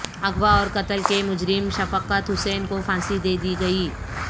اغوا اور قتل کے مجرم شفقت حسین کو پھانسی دے دی گئی